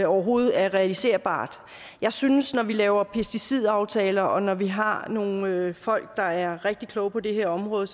overhovedet er realiserbart jeg synes at når vi laver pesticidaftaler og når vi har nogle folk der er rigtig kloge på det her område